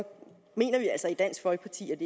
mener vi altså i dansk folkeparti at